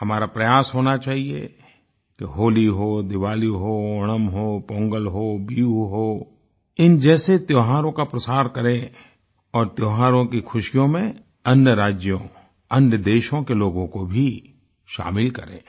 हमारा प्रयास होना चाहिये कि होली हो दिवाली हो ओणम हो पोंगल हो बिहु हो इन जैसे त्योहारों का प्रसार करें और त्योहारों की खुशियों में अन्य राज्यों अन्य देशों के लोगों को भी शामिल करें